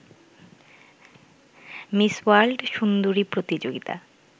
miss World সুন্দরী প্রতিযোগিতা